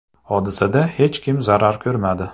Hodisada hech kim zarar ko‘rmadi.